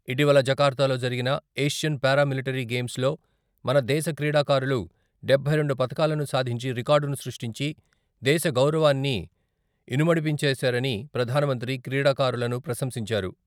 ఇటీవల జకర్తాలో జరిగిన ఏషియన్ పారా మిలటరీ గేమ్స్ మన దేశ క్రీడాకారులు డబ్బై రెండు పథకాలను సాధించి రికార్డును సృష్టించి దేశ గౌరవాన్ని ఇనుమడింపచేశారని ప్రధానమంత్రి క్రీడాకారులను ప్రశంసించారు.